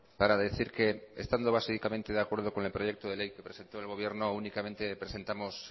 para decir que estando básicamente de acuerdo con el proyecto de ley que presentó el gobierno únicamente presentamos